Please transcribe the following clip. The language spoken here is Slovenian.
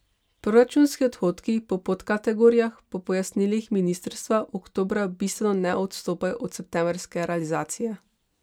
Proračunski odhodki po podkategorijah po pojasnilih ministrstva oktobra bistveno ne odstopajo od septembrske realizacije.